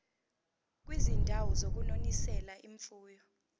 kwizindawo zokunonisela imfuyo